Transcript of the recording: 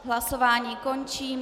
Hlasování končím.